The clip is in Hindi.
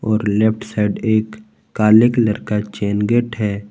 और लेफ्ट साइड एक काले कलर का चैन गेट है।